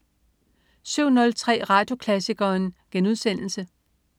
07.03 Radioklassikeren*